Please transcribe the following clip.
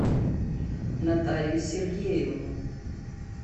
наталью сергеевну